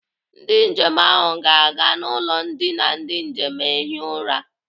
Ndị njem ahụ ga-aga n'ụlọ ndina ndị njem ehi ụra.